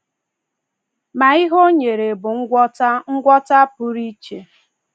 Ma ihe ọ nyere bụ ngwọta ngwọta pụrụ iche.